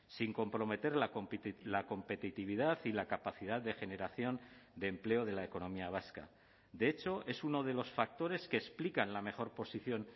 sin comprometer la competitividad y la capacidad de generación de empleo de la economía vasca de hecho es uno de los factores que explican la mejor posición